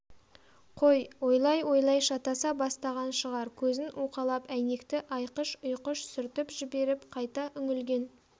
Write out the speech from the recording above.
қой ойлай-ойлай шатаса бастаған шығар көзін уқалап әйнекті айқыш-ұйқыш сүртіп жіберіп қайта үңілген